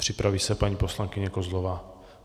Připraví se paní poslankyně Kozlová.